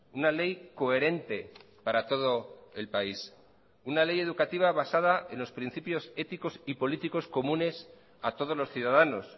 una ley coherente para todo el país una ley educativa basada en los principios éticos y políticos comunes a todos los ciudadanos